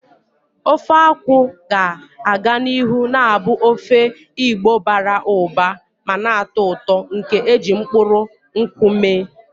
Ofe akwu ga-aga n'ihu na-abụ ofe Igbo bara ụba ma na-atọ ụtọ nke e ji mkpụrụ nkwụ mee.